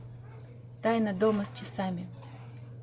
тайна дома с часами